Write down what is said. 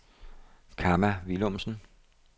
Kamma Willumsen